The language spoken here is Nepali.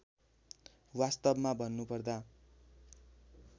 वास्तवमा भन्नुपर्दा